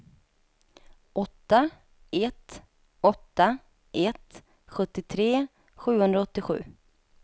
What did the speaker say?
åtta ett åtta ett sjuttiotre sjuhundraåttiosju